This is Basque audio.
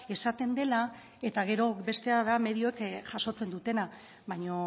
esaten dela eta gero bestea da medioek jasotzen dutena baina